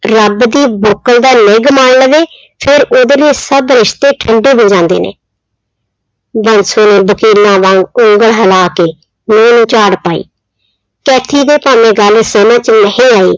ਰੱਬ ਦੀ ਬੁੱਕਲ ਦਾ ਨਿੱਘ ਮਾਣ ਲਵੇ, ਫਿਰ ਉਹਦੇ ਲਈ ਸਭ ਰਿਸਤੇ ਠੰਢੇ ਹੋ ਜਾਂਦੇ ਨੇ ਬਾਂਸੋ ਨੇ ਵਕੀਲਾਂ ਵਾਂਗ ਉਂਗਲ ਹਲਾ ਕੇ ਨਹੁੰ ਨੂੰ ਝਾੜ ਪਾਈ, ਕੈਥੀ ਦੇ ਭਾਵੇਂ ਗੱਲ ਸਮਝ 'ਚ ਨਹੀਂ ਆਈ,